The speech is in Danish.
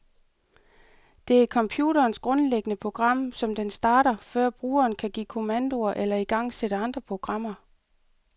Det er computerens grundlæggende program, som den starter, før brugeren kan give kommandoer eller igangsætte andre programmer.